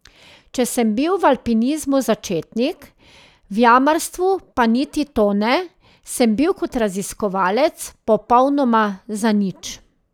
Če sem bil v alpinizmu začetnik, v jamarstvu pa niti to ne, sem bil kot raziskovalec popolnoma zanič.